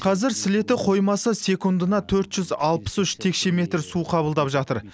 қазір сілеті қоймасы секундына төрт жүз алпыс үш текше метр су қабылдап жатыр